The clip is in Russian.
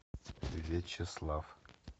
вячеслав